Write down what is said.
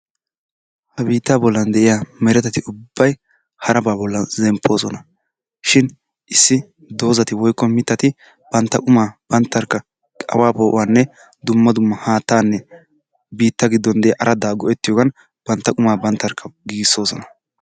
Ha biittaa bollan de'iyaa mereta ubbay harabaa bollan zemppoosona. Shin issi dozzati woyikko mittati bantta qumaa banttarkka awaa poo'uwaaninne dumma dimma haattaanne biitta giddon diyaa araddaa go'ettiyoogan bantta qumaa banttarkka giigissoosona.